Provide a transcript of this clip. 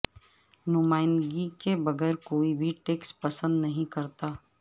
نمائندگی کے بغیر کوئی بھی ٹیکس پسند نہیں کرتا